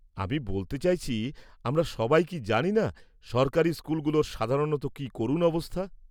-আমি বলতে চাইছি, আমরা সবাই কি জানিনা সরকারি স্কুলগুলোর সাধারণত কি করুণ অবস্থা?